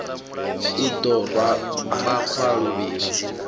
u ḓo rwa makhwa luvhili